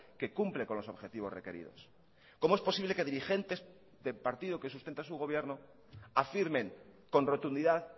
que cumple con los objetivos requeridos cómo es posible que dirigentes del partido que sustenta su gobierno afirmen con rotundidad